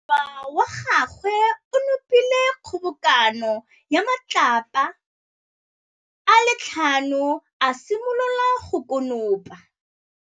Morwa wa gagwe o nopile kgobokanô ya matlapa a le tlhano, a simolola go konopa.